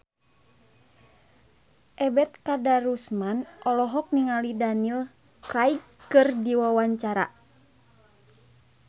Ebet Kadarusman olohok ningali Daniel Craig keur diwawancara